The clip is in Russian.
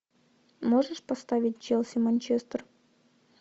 можешь поставить челси манчестер